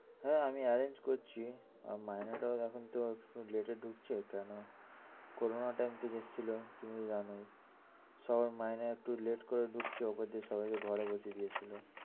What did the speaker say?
হ্যাঁ আমি arrange করছি, মাইনেটাও এখন late এ দিচ্ছে করোনার time বসে ছিলো তুমি তো জানোই সবার মাইনে একটু late করে দিচ্ছে ওরা সবাই কে ঘরে বসে দিয়েছিলো